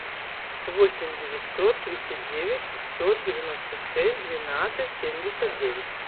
восемь девятьсот тридцать девять пятьсот девяносто шесть двенадцать семьдесят девять